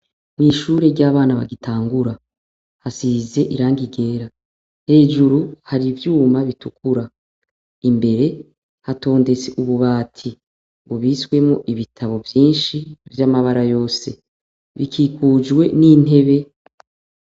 Mw'ishure ry'abana bagitangura hasize irangi ryera hejuru hari ivyuma bitukura imbere hatondetse ububati ubiswemo ibitabo vyinshi vy'amabara yose bikikujwe n'intebe.